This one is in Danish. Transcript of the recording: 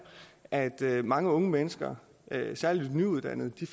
at mange unge mennesker særlig de nyuddannede